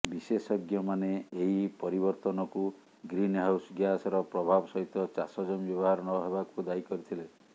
ବିଶେଷଜ୍ଞମାନେ ଏହି ପରିବର୍ତ୍ତନକୁ ଗ୍ରୀନହାଉସ୍ ଗ୍ୟାସର ପ୍ରଭାବ ସହିତ ଚାଷ ଜମି ବ୍ୟବହାର ନହେବାକୁ ଦାୟୀ କରିଥିଲେ